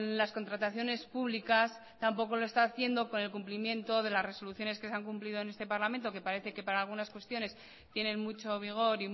las contrataciones públicas tampoco lo está haciendo con el cumplimiento de las resoluciones que se han cumplido en este parlamento que parece que para algunas cuestiones tienen mucho vigor